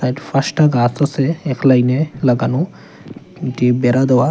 এট পাঁচটা গাছ আছে এক লাইন -এ লাগানো টি বেড়া দেওয়া।